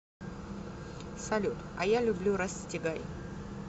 салют а я люблю расстегай